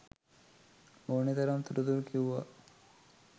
ඕනේ තරම් තොරතුරු කිව්වා